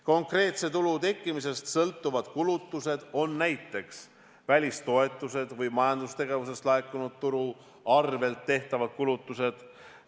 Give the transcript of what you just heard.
Konkreetse tulu tekkimisest sõltuvad kulutused on näiteks välistoetused või majandustegevusest laekunud tulu arvel tehtavad kulutused.